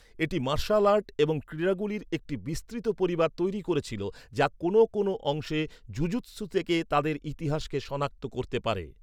এটি martial art এবং ক্রীড়াগুলির একটি বিস্তৃত পরিবার তৈরি করেছিল যা কোনও কোনও অংশে জুজুৎসু থেকে তাদের ইতিহাসকে শনাক্ত করতে পারে।